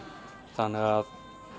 þannig að